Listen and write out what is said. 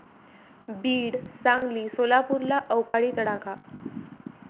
बीड, सांगली, सोलापूरला अवकाळी तडाखा